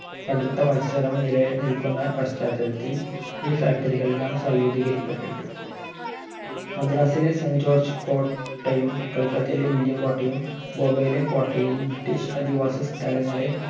കടുത്ത മത്സരം നിലനിൽക്കുന്ന പശ്ചാത്തലത്തിൽ ഈ factory കളെല്ലാം സായൂധീകരിക്കപ്പെട്ടു മദ്രാസിലെ saint ജോർജ് കോട്ടയും കൽക്കത്തയിലെ വില്യം കോട്ടയും ബോംബയിലെ കോട്ടയും british അധിവാസ സ്ഥലങ്ങളെ